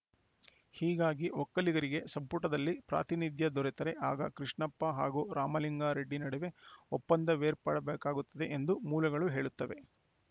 ಹೀಗಾಗಿ ಒಕ್ಕಲಿಗರಿಗೆ ಸಂಪುಟದಲ್ಲಿ ಪ್ರಾತಿನಿಧ್ಯ ದೊರೆತರೆ ಆಗ ಕೃಷ್ಣಪ್ಪ ಹಾಗೂ ರಾಮಲಿಂಗಾರೆಡ್ಡಿ ನಡುವೆ ಒಪ್ಪಂದವೇರ್ಪಡಬೇಕಾಗುತ್ತದೆ ಎಂದು ಮೂಲಗಳು ಹೇಳುತ್ತವೆ